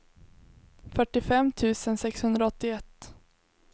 fyrtiofem tusen sexhundraåttioett